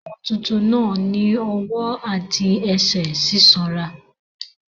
Ọmọ tuntun náà ní ọwọ́ àti ẹsẹ̀ sísanra.